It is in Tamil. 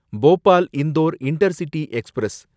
Bhopal Indore intercity express